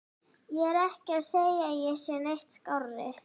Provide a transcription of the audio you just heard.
Ég er ekki að segja að ég sé neitt skárri.